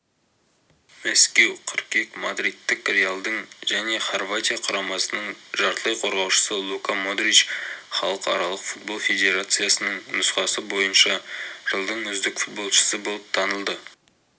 мәскеу қыркүйек мадридтік реалдың және хорватия құрамасының жартылай қорғаушысы лука модрич халықаралық футбол федерациясының нұсқасы бойынша жылдың үздік футболшысы болып танылды